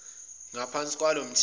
ngaphansi kwalo mthetho